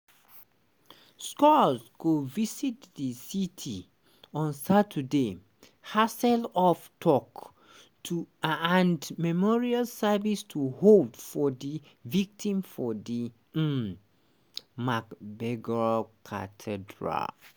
scholz go visit di city on saturday haseloff tok to and memorial service to hold for di victims for di um magdeburg cathedral.